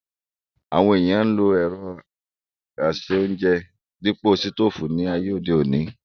Àwọn ènìyàn ń lo ẹ̀rọ ase-óúnjẹ dípò sítòfù ní ayé òde òní